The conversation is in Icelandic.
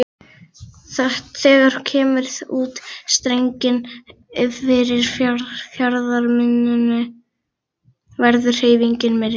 Þegar kemur út í strenginn fyrir fjarðarmynninu verður hreyfingin meiri.